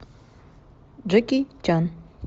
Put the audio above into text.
джеки чан